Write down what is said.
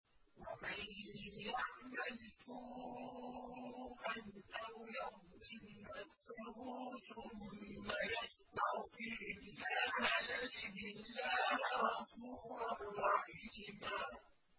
وَمَن يَعْمَلْ سُوءًا أَوْ يَظْلِمْ نَفْسَهُ ثُمَّ يَسْتَغْفِرِ اللَّهَ يَجِدِ اللَّهَ غَفُورًا رَّحِيمًا